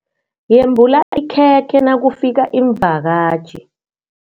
Yembula ikhekhe nakufika iimvakatjhi.